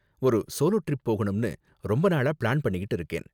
ஒரு solo trip போகணும்னு ரொம்ப நாளா ப்ளான் பண்ணிக்கிட்டு இருக்கேன்.